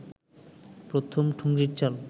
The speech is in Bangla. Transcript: প্রথম ঠুংরির চাল